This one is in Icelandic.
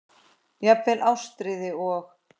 Jafnvel Ástríði og